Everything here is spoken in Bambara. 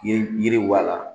Ye yiriwa la